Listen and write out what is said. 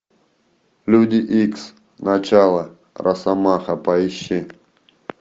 люди икс начало росомаха поищи